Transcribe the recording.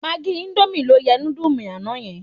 Magí íńdómì ló yẹ indomie àná yẹn.